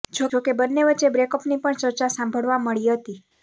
જોકે બંને વચ્ચે બ્રેકઅપની પણ ચર્ચા સાંભળવા મળી હતી